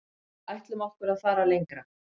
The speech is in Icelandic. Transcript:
Ætlum okkur að fara lengra